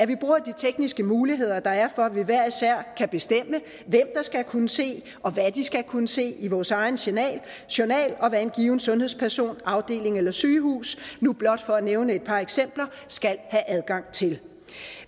vi bruger de tekniske muligheder der er for at vi hver især kan bestemme hvem der skal kunne se og hvad de skal kunne se i vores egen journal journal og hvad en given sundhedsperson afdeling eller sygehus nu blot for at nævne et par eksempler skal have adgang til